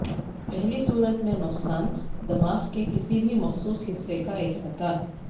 پہلی صورت میں نقصان دماغ کے کسی بھی مخصوص حصہ کا احاطہ